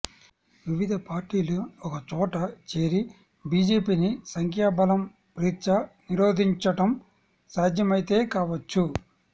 వివిధ పార్టీలు ఒకచోట చేరి బిజెపిని సంఖ్యాబలం రీత్యా నిరోధించటం సాధ్యమైతే కావచ్చు